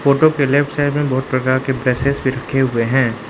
Photo के left side में बहुत प्रकार के भी रखे हुए हैं।